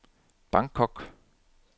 Bangkok